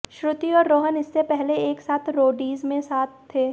श्रुति और रोहन इससे पहले एक साथ रोडीज़ में साथ थे